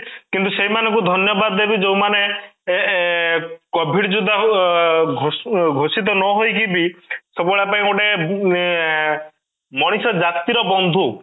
କିନ୍ତୁ ସେଇମାନଙ୍କୁ ଧନ୍ୟବାଦ ଦେବି ଯୋଉ ମାନେ ଏଁ ଏଁ covid ଯୋଦ୍ଧା କୁ ଘୋଷିତ ନହେଇକି ବି ସବୁବେଳେ ଆମ ପାଇଁ ଗୋଟେ ଏଁ ମଣିଷ ଜାତି ର ବନ୍ଧୁ